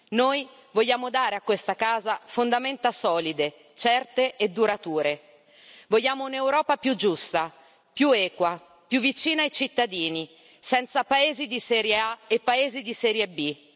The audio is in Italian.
Noi vogliamo dare a questa casa fondamenta solide, certe e durature. Vogliamo un'Europa più giusta, più equa, più vicina ai cittadini, senza Paesi di serie A e Paesi di serie B.